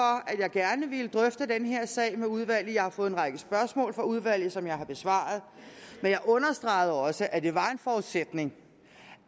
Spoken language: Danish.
at jeg gerne ville drøfte den her sag med udvalget jeg har fået en række spørgsmål fra udvalget som jeg har besvaret men jeg understregede også at det var en forudsætning